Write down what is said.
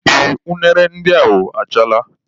Ee unere ndị ahụ achaala.